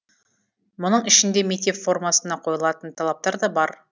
мұның ішінде мектеп формасына қойылатын талаптар да бар